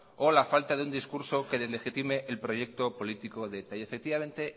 o la falta de un discurso que deslegitime el proyecto político de eta y efectivamente